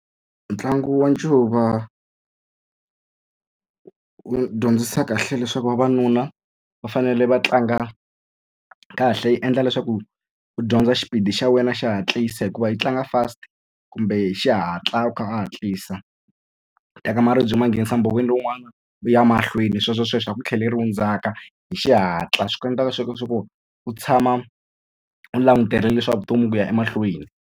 Ntlangu wa ncuva wu dyondzisa kahle leswaku vavanuna va fanele va tlanga kahle yi endla leswaku u dyondza xipidi xa wena xo hatlisa hikuva yi tlanga fast kumbe hi xihatla u kha u hatlisa u teka maribye ma nghenisa mbhoveni lowun'wana u ya mahlweni sweswosweswo a ku tlheleriwa ndzhaka hi xihatla swi ku endlaka swa ku u tshama u langutele leswaku vutomi ku ya emahlweni.